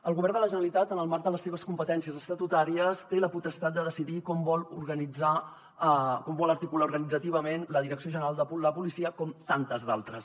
el govern de la generalitat en el marc de les seves competències estatutàries té la potestat de decidir com vol organitzar com vol articular organitzativament la direcció general de la policia com tantes d’altres